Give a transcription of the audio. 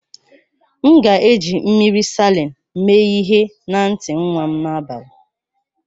M ga-eji mmiri Salịn mee ihe na ntị nwa m n'abalị